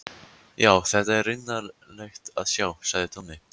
Já, þetta er raunalegt að sjá, sagði Tommi.